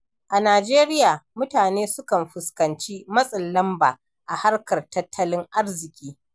A Najeriya, mutane sukan fuskanci matsin lamba a harkar tattalin arziki.